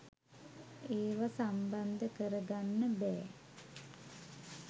ඒව සම්බන්ධ කර ගන්න බෑ.